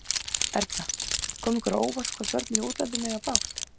Erla: Kom ykkur á óvart, hvað börnin í útlöndum eiga bágt?